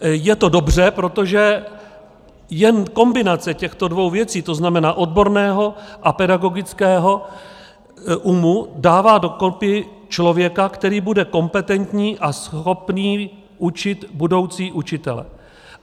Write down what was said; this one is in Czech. Je to dobře, protože jen kombinace těchto dvou věcí, to znamená odborného a pedagogického umu, dává do kopy člověka, který bude kompetentní a schopný učit budoucí učitele.